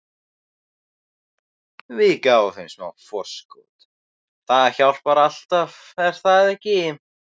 Við gáfum þeim smá forskot- það hjálpar alltaf, er það ekki?